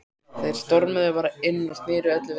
Þeir stormuðu bara inn og sneru öllu við.